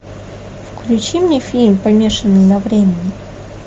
включи мне фильм помешанный на времени